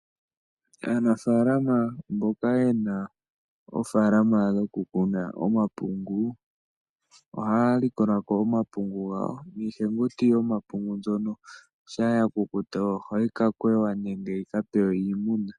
Aanafaalama mboka yena oofaala dhoku kuna omapungu, ohaya likolako omapungu gawo niihenguti yoma pungu mbyono shaa ya kukuta oha yi kwewa nenge yika pewe iimuna.